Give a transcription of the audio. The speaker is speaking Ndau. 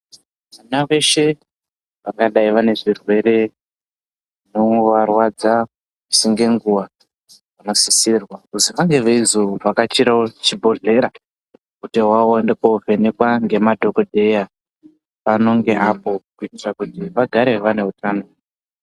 Vana veshe vangadai vane zvirwere zvinombovarwadza misi ngenguwa vanosisirwa kuzi vange veizovhakachirawo chibhodhlera kuti vaende kovhenekwa ngemadhokodheya anonge pano neapo kuitira kuti vagare vane utano.